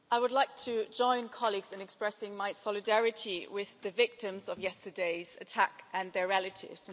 Mr President, I would like to join colleagues in expressing my solidarity with the victims of yesterday's attack and their relatives.